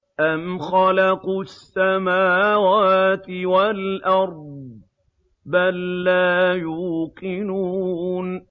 أَمْ خَلَقُوا السَّمَاوَاتِ وَالْأَرْضَ ۚ بَل لَّا يُوقِنُونَ